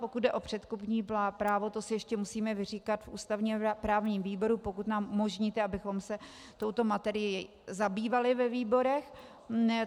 Pokud jde o předkupní právo, to si ještě musíme vyříkat v ústavně právním výboru, pokud nám umožníte, abychom se touto materií zabývali ve výborech.